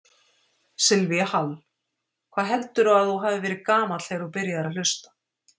Silvía Hall: Hvað heldurðu að þú hafi verið gamall þegar þú byrjaðir að hlusta?